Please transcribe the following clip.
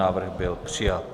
Návrh byl přijat.